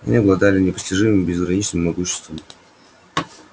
они обладали непостижимым безграничным могуществом